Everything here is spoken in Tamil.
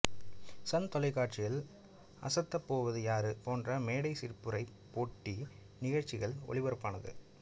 சன் தொலைக்காட்சியில் அசத்தப்போவது யாரு போன்ற மேடைச் சிரிப்புரை போட்டி நிகழ்ச்சிகள் ஒளிபரப்பானது